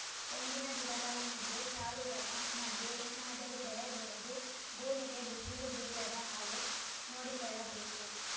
ತೆಂಗಿನ ಗಿಡಗಳ ಮಧ್ಯೆ ಸಾಲುಗಳ ಮಧ್ಯೆ ಏನಾದರೂ ಬೆಳೆ ಬೆಳೆದು ಭೂಮಿಗೆ ಬಿಸಿಲು ಬೀಳದ ಹಾಗೆ ನೋಡಿಕೊಳ್ಳಬೇಕು